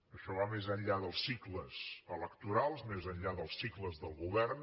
això va més enllà dels cicles electorals més enllà dels cicles del govern